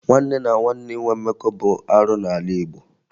Nwanne na nwanne inwe mmekọ bụ arụ n'ala Igbo